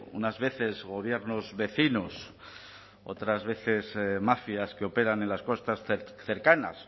unas veces gobiernos vecinos otras veces mafias que operan en las costas cercanas